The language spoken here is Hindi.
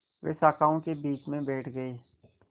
वे शाखाओं के बीच में बैठ गए